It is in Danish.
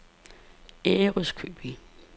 Ærøskøbing